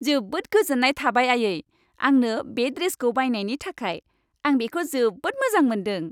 जोबोद गोजोन्नाय थाबाय आयै! आंनो बे ड्रेसखौ बायनायनि थाखाय, आं बेखौ जोबोद मोजां मोनदों।